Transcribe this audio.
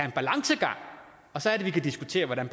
en balance og så kan vi diskutere hvordan